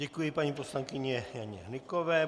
Děkuji paní poslankyni Janě Hnykové.